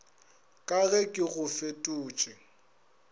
ka ge ke go fetotše